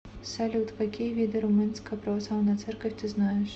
салют какие виды румынская православная церковь ты знаешь